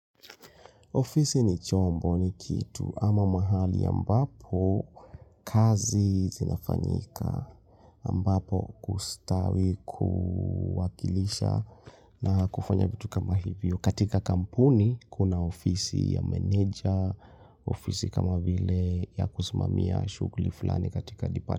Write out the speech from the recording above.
Ofisi ni chombo ni kitu ama mahali ambapo kazi zinafanyika ambapo kustawi kuwakilisha na kufanya vitu kama hivyo. Katika kampuni kuna ofisi ya manager, ofisi kama vile ya kusmamia shuguli fulani katika dipati.